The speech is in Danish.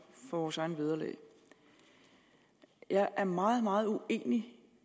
vores eget vederlag jeg er meget meget uenig